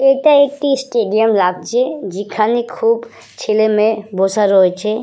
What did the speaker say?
এটা একটি স্টেডিয়াম লাগছে যেখানে খুব ছেলে মেয়ে বসে রয়েছে।